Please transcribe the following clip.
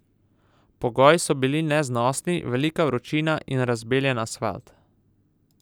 Pogoji so bili neznosni, velika vročina in razbeljen asfalt.